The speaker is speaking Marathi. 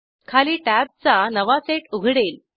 खाली टॅब्जचा नवा सेट उघडेल